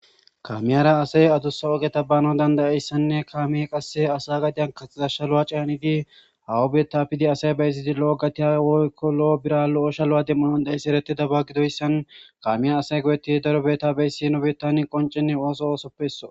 kamiyara asay adusa ogeta bana dandayeyssanne kaame qasse asa gadiyan kaxxasha lu7a caanidi hawa betta pidi asay beysidi lo7o gatiya woykko lo7o bira lo7osha lu7a demmunondaeyssi eretida ba gidoyssan kamiya asay goyetti daro betta beysino bettan qoncenne ooso oosoppesso